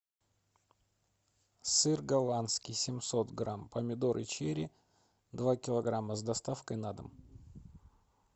сыр голландский семьсот грамм помидоры черри два килограмма с доставкой на дом